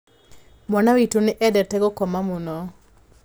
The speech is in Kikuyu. Mwana witũ nĩ endete gũkoma mũno.